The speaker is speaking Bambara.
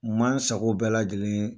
N man n sago bɛɛ lajɛlen